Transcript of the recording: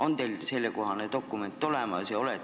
On teil sellekohane dokument olemas?